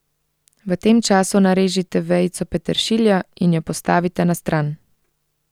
V tem času narežite vejico peteršilja in jo postavite na stran.